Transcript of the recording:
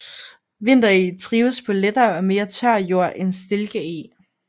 Vintereg trives på lettere og mere tør jord end stilkeg